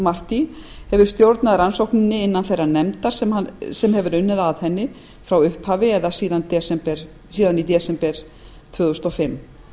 dick marty hefur stjórnað rannsókninni innan þeirrar nefndar sem hefur unnið að henni frá upphafi eða síðan í desember tvö þúsund og fimm